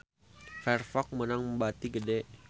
Firefox meunang bati gede